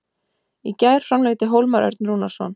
Í gær framlengdi Hólmar Örn Rúnarsson.